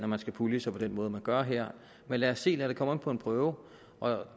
man skal pulje sig på den måde man gør her men lad os se lad det komme an på en prøve og